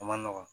A man nɔgɔn